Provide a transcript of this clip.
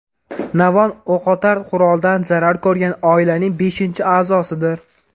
Navon o‘qotar quroldan zarar ko‘rgan oilaning beshinchi a’zosidir.